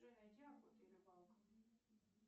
джой найди охота и рыбалка